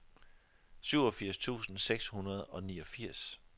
syvogfirs tusind seks hundrede og niogfirs